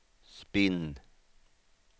spinn